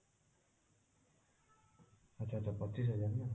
ଆଚ୍ଛା ତ ପଚିଶ ହଜାର ନା ନା